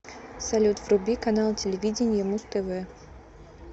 салют вруби канал телевидения муз тв